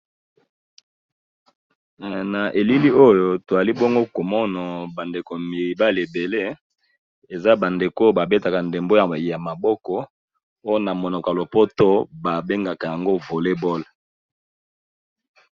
Na elili oyo toali bongo komono bandeko mibali ebele eza bandeko babetaka ndembo ya ya maboko oyo na monoko ya lopoto babengaka yango volleyball